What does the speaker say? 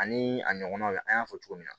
Ani a ɲɔgɔnnaw an y'a fɔ cogo min na